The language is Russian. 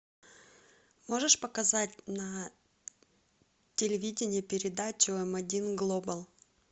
можешь показать на телевидении передачу м один глобал